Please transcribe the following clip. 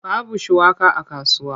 Babu shuwaka a kasuwa.